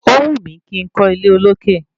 Ówù mí kí n kọ́ ilé olókè